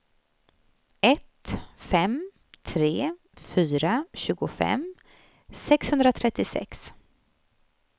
ett fem tre fyra tjugofem sexhundratrettiosex